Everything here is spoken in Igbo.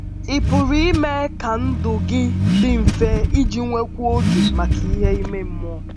Ị̀ pụrụ ime ka ndụ gị dị mfe iji nwekwuo oge maka ihe ime mmụọ?